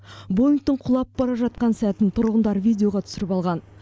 боингтің құлап бара жатқан сәтін тұрғындар видеоға түсіріп алған